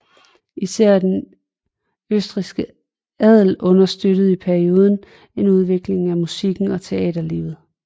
Især den østrigske adel understøttede i perioden en udvikling af musikken og teaterlivet